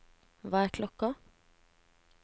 hva er klokken